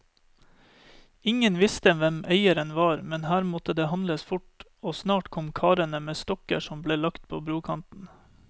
Ingen visste hvem eieren var, men her måtte det handles fort, og snart kom karene med stokker som ble lagt på brokanten.